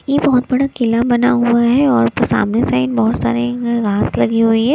ई बहोत बड़ा किला बना हुआ है और सामने से बहोत सारे मैप लगी हुई है।